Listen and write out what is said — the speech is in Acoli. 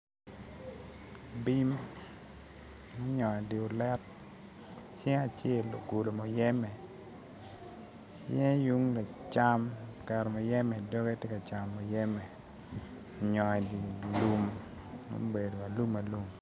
Bim ma onyongo i di olet cinge acel ogulu muyeme cinge yung lacam oketo muyeme i dogge ti kacamo muyeme onyongo i di lum ma obedo alum alum